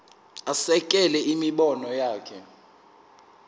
asekele imibono yakhe